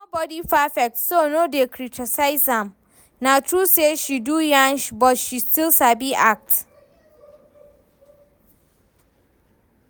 Nobody perfect so no dey criticise am. Na true say she do nyash but she still sabi act